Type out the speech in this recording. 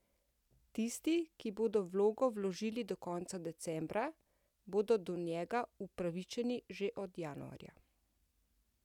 Tisti, ki bodo vlogo vložili do konca decembra, bodo do njega upravičeni že od januarja.